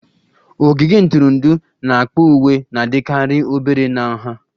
Ogige ntụrụndụ n'akpa uwe na-adịkarị obere na nha